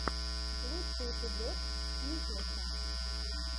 лучший эпизод никлэсса